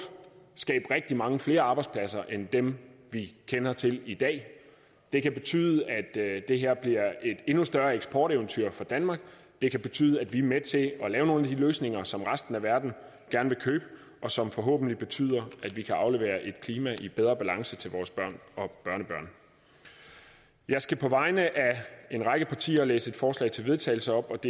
skabe rigtige mange flere arbejdspladser end dem vi kender til i dag det kan betyde at det her bliver et endnu større eksporteventyr for danmark det kan betyde at vi er med til at lave nogle af de løsninger som resten af verden gerne vil købe og som forhåbentlig betyder at vi kan aflevere et klima i bedre balance til vores børn og børnebørn jeg skal på vegne af en række partier læse følgende forslag til vedtagelse op